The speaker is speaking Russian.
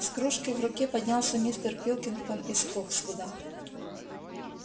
с кружкой в руке поднялся мистер пилкингтон из фоксвуда